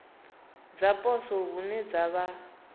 dza poswo hune dza vha